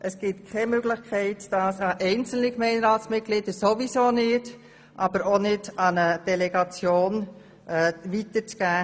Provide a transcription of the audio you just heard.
Es gibt sowieso keine Möglichkeit, dies an einzelne Gemeinderatsmitglieder, aber auch nicht an eine Delegation weiterzugeben.